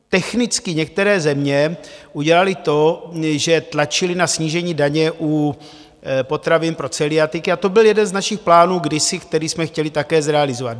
Technicky některé země udělaly to, že tlačily na snížení daně u potravin pro celiatiky, a to byl jeden z našich plánů kdysi, který jsme chtěli také zrealizovat.